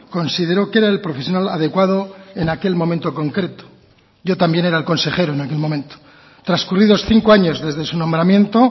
consideró que era el profesional adecuado en aquel momento concreto yo también era el consejero en aquel momento transcurridos cinco años desde su nombramiento